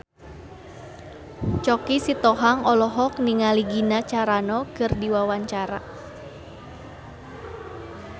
Choky Sitohang olohok ningali Gina Carano keur diwawancara